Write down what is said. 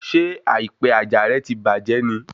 Ṣé àìpẹ àjà rẹ ti bàjẹ́ ni?